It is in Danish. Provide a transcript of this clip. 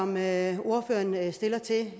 med